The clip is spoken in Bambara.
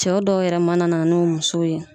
Cɛw dɔw yɛrɛ mana na n'u muso ye